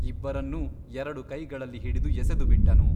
ಇಬ್ಬರನ್ನೂ ಎರಡು ಕೈಗಳಲ್ಲಿ ಹಿಡಿದು ಎಸೆದುಬಿಟ್ಟನು.